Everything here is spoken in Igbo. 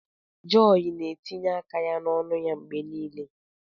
Joy na-etinye aka ya n'ọnụ ya mgbe niile.